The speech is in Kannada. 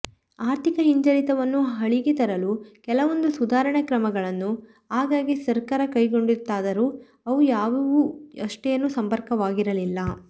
ಆರ್ಥಿಕ ಹಿಂಜರಿತವನ್ನು ಹಳಿಗೆ ತರಲು ಕೆಲವೊಂದು ಸುಧಾರಣ ಕ್ರಮಗಳನ್ನು ಆಗ್ಗಾಗ್ಗೆ ಸರ್ಕಾರ ಕೈಗೊಂಡಿತ್ತಾದರೂ ಅವು ಯಾವುವೂ ಅಷ್ಟೇನೂ ಸಮರ್ಪಕವಾಗಿರಲಿಲ್ಲ